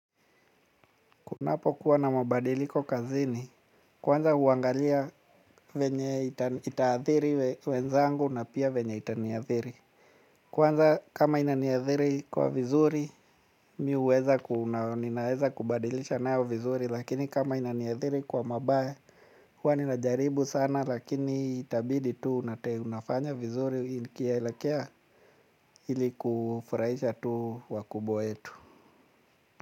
Kunapo kuwa na mabadiliko kazini, kwanza huangalia venye itaathiri wenzangu na pia venye itaniathiri. Kwanza kama inaniathiri kwa vizuri, mi huweza ku na, ninaeza kubadilisha nayo vizuri, lakini kama inaniathiri kwa mabaya, huwa ninajaribu sana lakini itabidi tu una te unafanya vizuri, ikielekea ilikufurahisha tu wakubwa wetu.